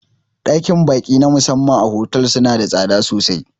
Ɗakin ba'i na musamman a fotel suna da tsada sosai